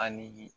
A ni